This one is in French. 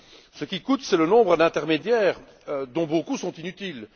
Ce qui coûte, c'est le nombre d'intermédiaires, dont beaucoup sont inutiles.